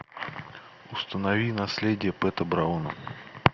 установи наследие пэта брауна